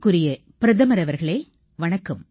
மதிப்பிற்குரிய பிரதமர் அவர்களே வணக்கம்